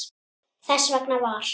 Þess vegna var